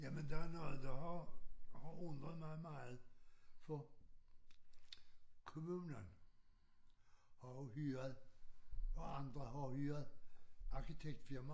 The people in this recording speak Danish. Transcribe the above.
Jamen der er noget der har har undret mig meget for kommunen har jo hyret og andre har hyret arkitektfirma